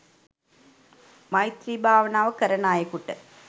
මෛත්‍රී භාවනාව කරන අයෙකුට